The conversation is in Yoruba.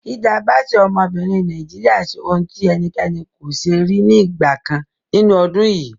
Hilda Baci, obìnrin ọmọ Nàìjíríà ṣe ohun tí ẹnikẹ́ni kò ṣe rí ní ìgbà kan nínú ọdún yìí.